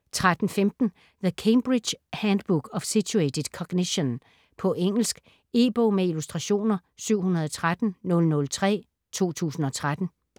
13.15 The Cambridge handbook of situated cognition På engelsk. E-bog med illustrationer 713003 2013.